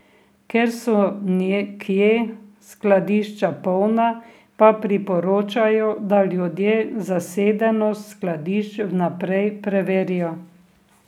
Ker so nekje skladišča polna, pa priporočajo, da ljudje zasedenost skladišč vnaprej preverijo.